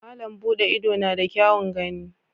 Malam Bude Ido na da kyaun gani.